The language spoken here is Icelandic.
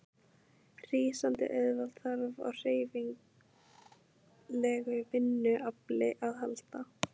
Rísandi auðvald þarf á hreyfanlegu vinnuafli að halda.